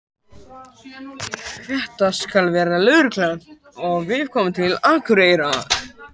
Þetta skal verða lögreglumál, þegar við komum til Akureyrar.